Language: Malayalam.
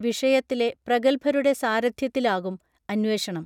വിഷയത്തിലെ പ്രഗൽഭരുടെ സാരഥ്യത്തിലാകും അന്വേഷണം